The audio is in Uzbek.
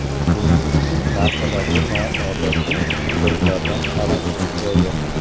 Buning uchun narsalarga noodatiy burchaklardan qarash kifoya.